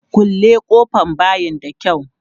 Kulle ƙofan bayin da kyau!